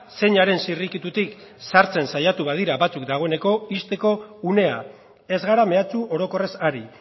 zeinaren zirrikitutik sartzen saiatu badira batzuk dagoeneko ixteko unea ez gara mehatxu orokorrez ari